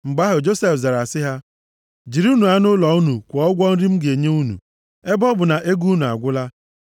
Mgbe ahụ Josef zara sị ha: “Jirinụ anụ ụlọ unu kwụọ ụgwọ nri m ga-enye unu, ebe ọ bụ na ego unu agwụla.”